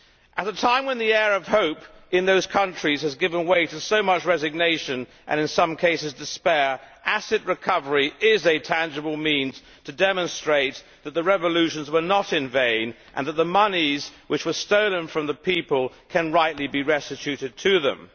At a time when the air of hope in those countries has given way to so much resignation, and in some cases despair, asset recovery is a tangible means to demonstrate that the revolutions were not in vain and that the monies which were stolen from the people can rightly be restituted to them.